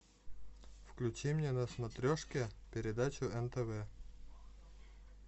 включи мне на смотрешке передачу нтв